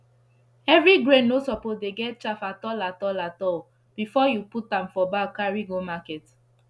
every grain no suppose dey get chaff at all at all at all before u put am for bag carry go market